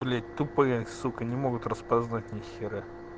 блять тупые сука не могут распознать нихера